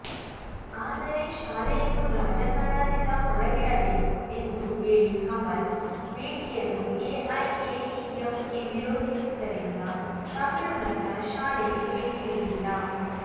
ಆದರೆ ಶಾಲೆಯನ್ನು ರಾಜಕಾರಣದಿಂದ ಹೊರಗಿಡಬೇಕು ಎಂದು ಹೇಳಿ ಕಮಲ್ ಭೇಟಿಯನ್ನು ಎಐಎಡಿಎಂಕೆ ವಿರೋಧಿಸಿದ್ದರಿಂದ ತಮಿಳು ನಟ ಶಾಲೆಗೆ ಭೇಟಿ ನೀಡಿಲ್ಲ